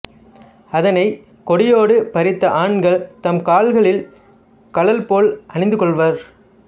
அதனைக் கொடியோடு பறித்து ஆண்கள் தம் கால்களில் கழல் போல அணிந்துகொள்வர்